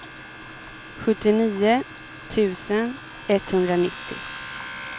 sjuttionio tusen etthundranittio